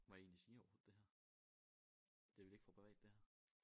Må jeg egentlig sige overhovedet det her? Det er vel ikke for privat det her?